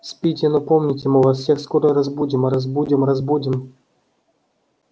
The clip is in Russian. спите но помните мы вас всех скоро разбудим разбудим разбудим